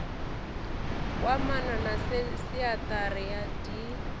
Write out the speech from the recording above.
kwamana na senthara ya dti